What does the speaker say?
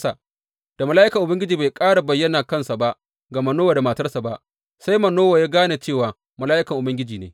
Da mala’ikan Ubangiji bai ƙara bayyana kansa ga Manowa da matarsa ba, sai Manowa ya gane cewa mala’ikan Ubangiji ne.